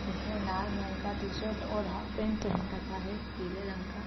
जिसने नाल रंग का टी-शर्ट और हाफ पैन्ट पहन रखा है पीले रंग का।